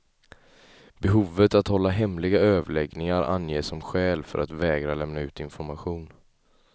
Behovet att hålla hemliga överläggningar anges som skäl för att vägra lämna ut information.